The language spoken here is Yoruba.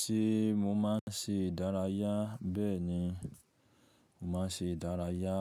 Ṣé mo máa ń ṣe ìdárayá? Bẹ́ẹ̀ ni, mo máa ń ṣe ìdárayá